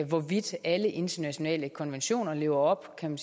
hvorvidt alle internationale konventioner lever op kan